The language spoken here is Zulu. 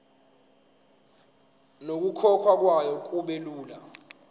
nokukhokhwa kwayo kubelula